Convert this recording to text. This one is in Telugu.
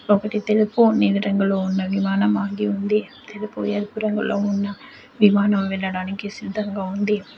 ఒకటి తెలుపు నీలిరంగులో ఉన్న విమానం ఆగి ఉంది తెలుపు ఎరుపు రంగులో ఉన్న విమానం వెళ్ళడానికి సిద్ధంగా ఉంది.